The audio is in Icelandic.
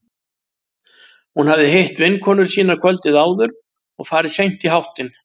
Hún hafði hitt vinkonur sínar kvöldið áður og farið seint í háttinn.